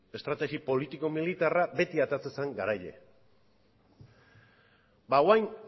estrategi politiko militarra beti ateratzen zen garaile ba orain